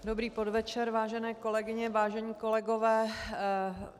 Dobrý podvečer, vážené kolegyně, vážení kolegové.